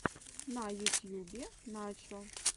на ютьюбе начо